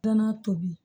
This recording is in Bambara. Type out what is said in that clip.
N'a tobi